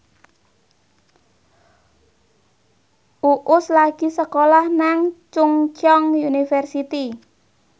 Uus lagi sekolah nang Chungceong University